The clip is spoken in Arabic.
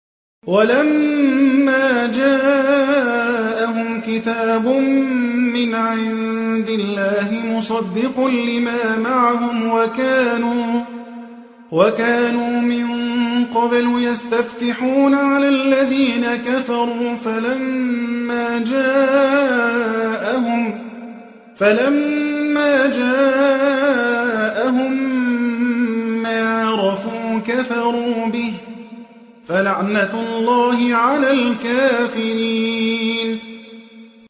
وَلَمَّا جَاءَهُمْ كِتَابٌ مِّنْ عِندِ اللَّهِ مُصَدِّقٌ لِّمَا مَعَهُمْ وَكَانُوا مِن قَبْلُ يَسْتَفْتِحُونَ عَلَى الَّذِينَ كَفَرُوا فَلَمَّا جَاءَهُم مَّا عَرَفُوا كَفَرُوا بِهِ ۚ فَلَعْنَةُ اللَّهِ عَلَى الْكَافِرِينَ